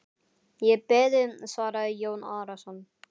Ég hef beðið, svaraði Jón Arason.